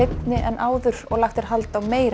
áður og lagt er hald á meira